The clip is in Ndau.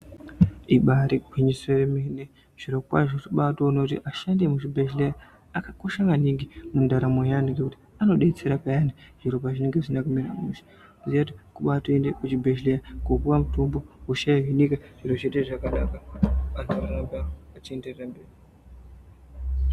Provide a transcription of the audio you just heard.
Ibari gwinyiso yemene zvirokwazvo tinobatoona kuti ashandi emuzvibhedhleya akakosha maningi mundaramo yeantu. Ngekuti anobetsera peyani zviropa zvinenge zvisina kumira mushe voziya kuti kubatoende kuzvibhedhlera kopuva mutombo hosha yohinika, zviro zvoita zvakanaka vantu voenderera mberi.